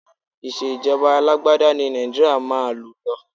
Ìṣèjọba alágbádá ni Nàìjíríà máa lò lọ.